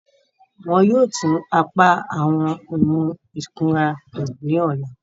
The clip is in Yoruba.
Wọn yóò tun apa awọn ohun ikunra to ni ọla.